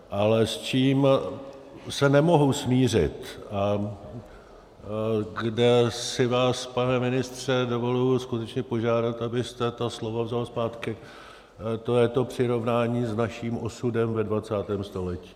Ale s čím se nemohu smířit a kde si vás, pane ministře, dovoluji skutečně požádat, abyste to slovo vzal zpátky, to je to přirovnání s naším osudem ve 20. století.